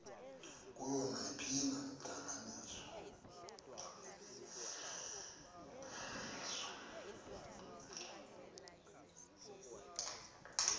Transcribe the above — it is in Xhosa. kuyo nayiphina intlanganiso